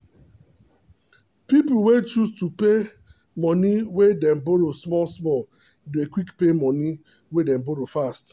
people wey choose to pay moni wey them borrow small small dey quick pay moni wey them borrow fast.